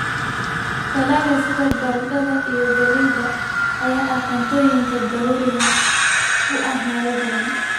Dalagga sida baradhada iyo galleyda ayaa ah cuntooyinka daruuriga u ah meelo badan.